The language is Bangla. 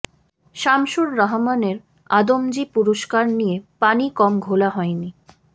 শামসুর রাহমানের আদমজী পুরস্কার নিয়ে পানি কম ঘোলা হয়নি